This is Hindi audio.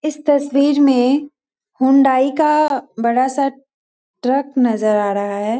इस तस्वीर में हुंडई का बड़ा सा ट्रक नज़र आ रहा है |